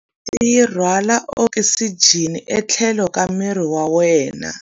Ngati yi rhwala okisijeni etlhelo ka miri wa wena.